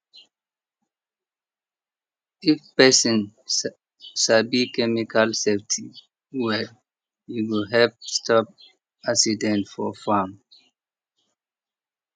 if person sabi chemical safety well e go help stop accident for farm